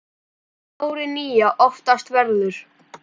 árið nýja oftast verður